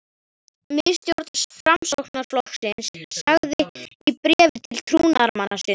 Miðstjórn Framsóknarflokksins sagði í bréfi til trúnaðarmanna sinna